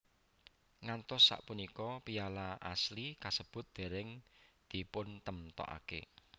Ngantos sapunika piala asli kasebut dereng dipuntemokake